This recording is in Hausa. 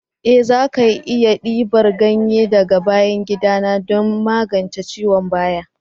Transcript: Eh za ki iya dibar ganye daga bayan gida na don magance ciwon baya.